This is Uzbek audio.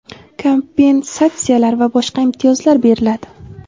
kompensatsiyalar va boshqa imtiyozlar beriladi.